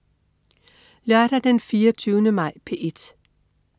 Lørdag den 24. maj - P1: